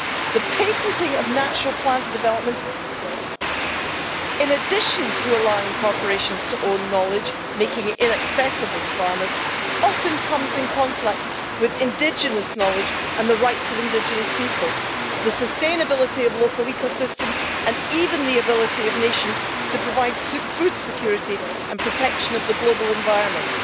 The patenting of natural plant developments, in addition to allowing corporations to own knowledge, making it inaccessible to farmers, often conflicts with indigenous knowledge and the rights of indigenous people, the sustainability of local ecosystems and even the ability of nations to provide food security and to protect the global environment.